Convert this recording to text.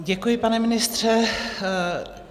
Děkuji, pane ministře.